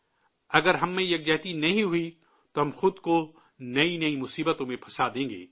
اگر ہم میں اتحاد نہیں ہوا تو ہم خود کو نئی نئی مصیبتوں میں پھنسا دیں گے